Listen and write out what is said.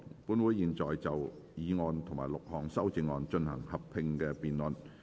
本會現在就議案及6項修正案進行合併辯論。